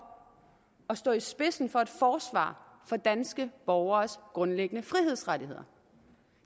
at stå i spidsen for et forsvar af danske borgeres grundliggende frihedsrettigheder